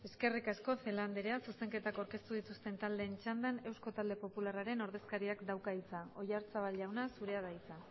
eskerrik asko celaá andrea zuzenketak aurkeztu dituzten taldeen txandan eusko talde popularraren ordezkariak dauka hitza oyarzabal jauna zurea da hitza